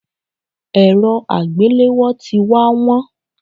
Èrọ àgbéléwò tí wá wón.